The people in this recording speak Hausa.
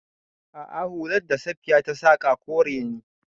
A'a, hular da Safiya ta saƙa kore ne.